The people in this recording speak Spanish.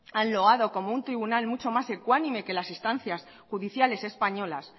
han loado como un tribunal mucho más ecuánime que las instancias judiciales españolas